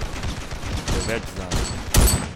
Preveč zanj.